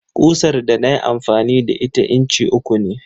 Ƙusar da na yi amfani da ita inci uku ce.